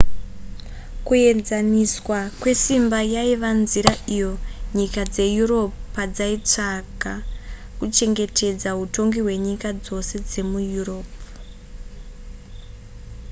kuenzaniswa kwesimba yaiva nzira iyo nyika dzeeurope padzaitsvaga kuchengetedza hutongi hwenyika dzose dzemueurope